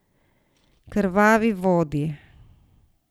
Krvavi vodi.